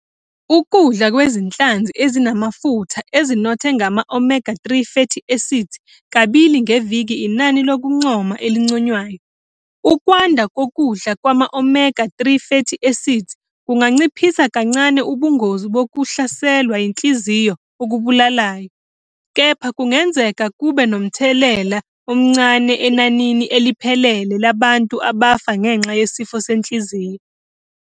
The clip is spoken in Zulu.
Ukudla kwezinhlanzi ezinamafutha ezinothe ngama-omega-3 fatty acids kabili ngeviki inani lokuncoma elinconywayo. Ukwanda kokudla kwama-omega-3 fatty acids kunganciphisa kancane ubungozi bokuhlaselwa yinhliziyo okubulalayo, kepha kungenzeka kube nomthelela omncane enanini eliphelele labantu abafa ngenxa yesifo senhliziyo.